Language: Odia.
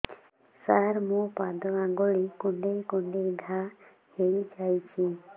ସାର ମୋ ପାଦ ଆଙ୍ଗୁଳି କୁଣ୍ଡେଇ କୁଣ୍ଡେଇ ଘା ହେଇଯାଇଛି